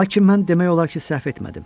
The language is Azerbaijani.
Lakin mən demək olar ki, səhv etmədim.